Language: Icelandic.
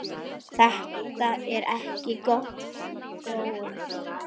Þetta er ekki góð þróun.